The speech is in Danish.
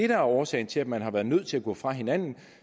var årsagen til at man var nødt til at gå fra hinanden